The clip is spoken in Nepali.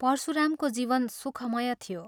परशुरामको जीवन सुखमय थियो।